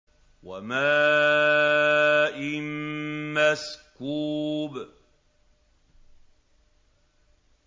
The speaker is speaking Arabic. وَمَاءٍ مَّسْكُوبٍ